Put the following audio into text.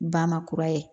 Ba makura ye